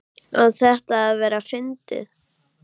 Á þetta að vera fyndið?